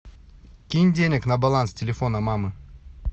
кинь денег на баланс телефона мамы